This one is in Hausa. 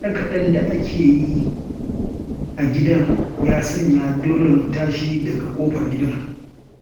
Kaɗe-kaɗen da ake yi a gidan, ya sanya dole mu tashi daga ƙofar gidan.